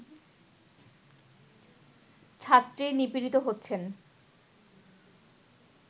ছাত্রী নিপীড়িত হচ্ছেন